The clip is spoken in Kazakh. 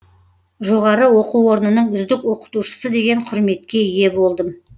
жоғары оқу орнының үздік оқытушысы деген құрметке ие болдым